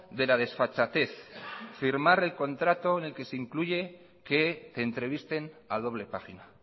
de la desfachatez firmar el contrato en el que se incluye que entrevisten a doble página